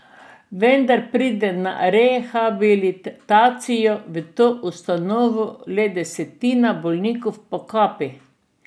Vendar pride na rehabilitacijo v to ustanovo le desetina bolnikov po kapi.